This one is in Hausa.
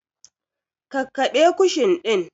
Kakkaɓe kushin ɗin!